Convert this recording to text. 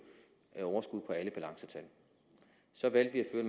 et overskud balancetal så valgte vi